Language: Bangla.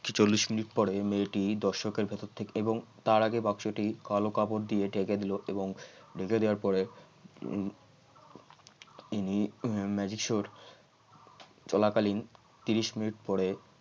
চল্লিশ মিনিট পরে মেয়েটি দর্শকের ভেতর থেকে এবং তার আগে বাক্সটি কালো কাপড় দিয়ে ঢেকে দিল এবং ঢেকে দেওয়ার পরে উম ইনি magic show চলাকালীন ত্রিশ মিনিট পরে